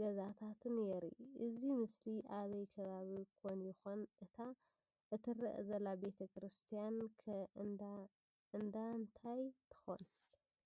ገዛታትን የርኢ፡፡ እዚ ምስሊ አበይ ከባቢ ኮን ይኮን? እታ እትረአ ዘላ ቤተ ክርስትያን ከ እንዳ እንታይ ትከውን?